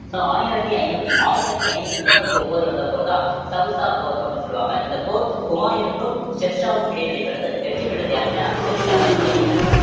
so ஆயிரத்தி ஐநூத்தி ஆயிரத்தி ஐநூத்தி முப்பத்தி ஒன்பதுல நடந்த போர்தான் சௌசா போர் அப்படின்னு சொல்லுவாங்க இந்த போர் ஹுமாயூனுக்கும் ஷெர்ஷாவுக்கும் இடையே நடைபெறுது வெற்றி பெற்றது யாரு அப்படின்னா ஷெர்ஷாதான் வெற்றி அடைகிறார்